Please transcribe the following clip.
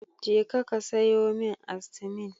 Jeka ka sayo min Astimin.